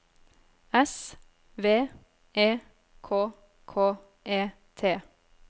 S V E K K E T